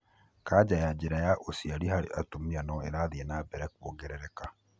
Canja ya njira ya ũciari harĩ atumia no ĩrathi na mbere kuongerereka.